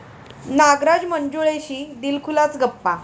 नागराज मंजुळेशी दिलखुलास गप्पा